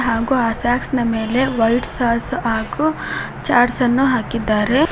ಹಾಗು ಆ ಸ್ಯಾಕ್ಸ್ ನ ಮೇಲೆ ವೈಟ್ ಸಾಸ್ ಹಾಗು ಚಾಟ್ಸ್ ಅನ್ನು ಹಾಕಿದ್ದಾರೆ ಪ್ಲ--